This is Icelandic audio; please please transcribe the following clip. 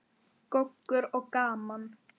Goggur og gaman.